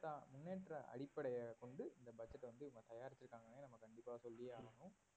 முன்னேற்ற அடிப்படைய கொண்டு இந்த பட்ஜெட்டை வந்து இவங்க தயாரிச்சிருக்காங்கன்னு கண்டிப்பா நம்ம சொல்லியே ஆகணும்